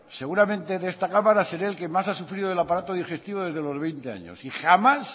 seguramente de esta cámara seré el que más ha sufrido del aparato digestivo desde los veinte años y jamás